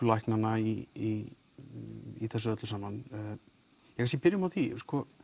læknanna í í þessu öllu saman ef við byrjum á því